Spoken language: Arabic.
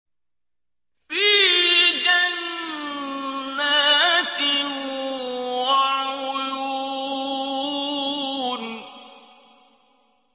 فِي جَنَّاتٍ وَعُيُونٍ